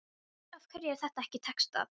Af hverju er þetta ekki textað?